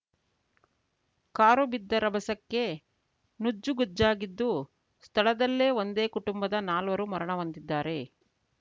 car ಬಿದ್ದ ರಭಸಕ್ಕೆ ನುಜ್ಜುಗುಜ್ಜಾಗಿದ್ದು ಸ್ಥಳದಲ್ಲೇ ಒಂದೇ ಕುಟುಂಬದ ನಾಲ್ವರು ಮರಣಹೊಂದಿದ್ದಾರೆ